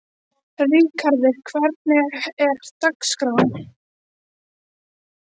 Ríkharður, hvernig er dagskráin?